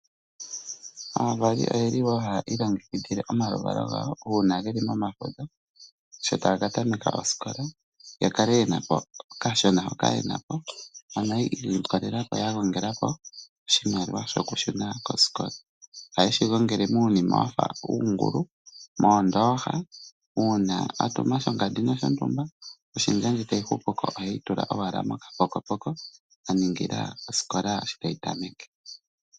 Aavali oyeli haa ilongekidhile omaluvalo gawo uuna geli momafudho sho taga katameka osikola yakale yena po okashona hoka yena po, ano yiikolelela oshimaliwa shoku shuna kosikola ohaye shi gongele muunima wafa uungulu, moondooha uuna atuma shongandi noshotumba oshendja ndji tayi hupu ko oheyi tula owala mokapokopoko aningila osikola shi tayi tameke.